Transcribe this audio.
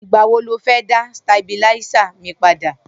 Nigbà wó ló fẹ̀ dà stábiláìsá mi pàdá?